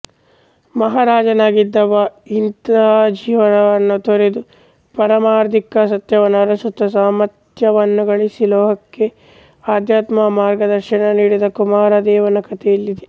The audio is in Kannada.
ಮಹಾರಾಜನಾಗಿದ್ದವ ಇಹಜೀವನವನ್ನು ತೊರೆದು ಪಾರಮಾರ್ಥಿಕ ಸತ್ಯವನ್ನು ಅರಸುತ್ತ ಸಾರ್ಥಕ್ಯವನ್ನುಗಳಿಸಿ ಲೋಕಕ್ಕೆ ಆಧ್ಯಾತ್ಮ ಮಾರ್ಗದರ್ಶನ ನೀಡಿದ ಕುಮಾರದೇವನ ಕಥೆ ಇಲ್ಲಿದೆ